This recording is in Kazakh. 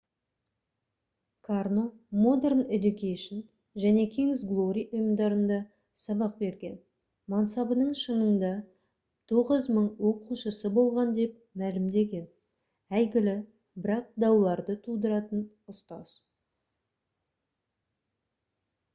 карно modern education және king's glory ұйымдарында сабақ берген мансабының шыңында 9000 оқушысы болған деп мәлімдеген әйгілі бірақ дауларды тудыратын ұстаз